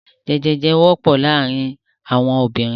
Jẹjèjẹ ọyàn wọ́pọ̀ ní àárín àwọn obìnrin.